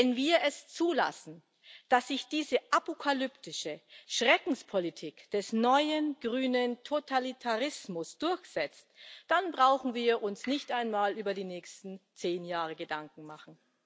Wenn wir es zulassen, dass sich diese apokalyptische Schreckenspolitik des neuen, grünen Totalitarismus durchsetzt, dann brauchen wir uns nicht einmal über die nächsten zehn Jahre Gedanken zu machen.